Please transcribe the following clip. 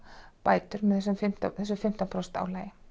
bætur með þessu fimmtán þessu fimmtán prósenta álagi